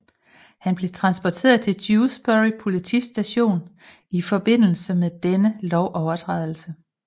Han blev transporteret til Dewsbury politistation i forbindelse med denne lovovertrædelse